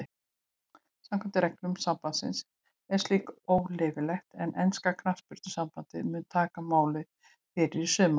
Samkvæmt reglum sambandsins er slíkt óleyfilegt en enska knattspyrnusambandið mun taka máið fyrir í sumar.